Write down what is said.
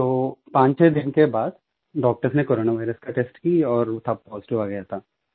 तो पांचछः दिन के बाद डॉक्टर्स ने कोरोना वायरस का टेस्ट की और तब पॉजिटिव आ गया था